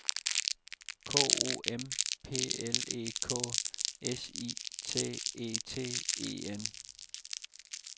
K O M P L E K S I T E T E N